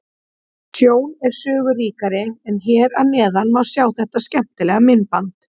Sjón er sögu ríkari en hér að neðan má sjá þetta skemmtilega myndband.